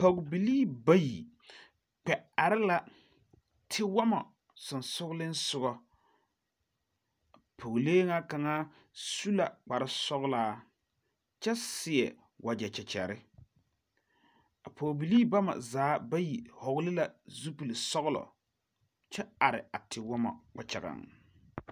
Pɔgebilii bayi kpɛ are la tewɔmo soŋsogliŋsogɔ, a pɔgelee nyɛ kaŋa su la kparresoglaa kyɛ seɛ wagyɛ kɛkɛre a pɔgebilii bama zaa vɔgli la zuppilisɔglɛ kyɛ are a tewomɔ kpakyagaŋ.